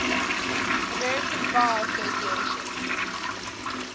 american bar association